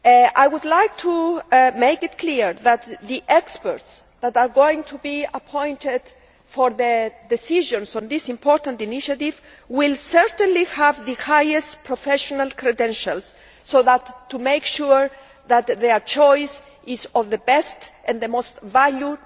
I would like to make it clear that the experts who are going to be appointed for the decisions on this important initiative will certainly have the highest professional credentials to make sure that they choose not only the best and highest value